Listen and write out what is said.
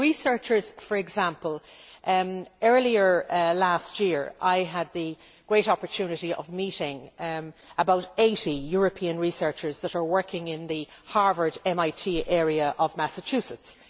For researchers, for example earlier last year I had the great opportunity of meeting about 80 European researchers who are working in the Harvard MIT area of Massachusetts.